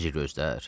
Necə gözdür?